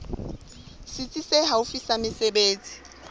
setsi se haufi sa mesebetsi